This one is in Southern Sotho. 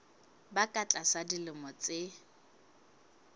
ba ka tlasa dilemo tse